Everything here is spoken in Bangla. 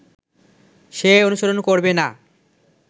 সে অনুসরণ করবে না